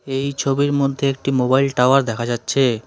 এই ছবির মধ্যে একটি মোবাইল টাওয়ার দেখা যাচ্ছে।